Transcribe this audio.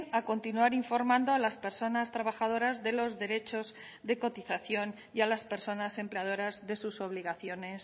a continuar informando a las personas trabajadoras de los derechos de cotización y a las personas empleadoras de sus obligaciones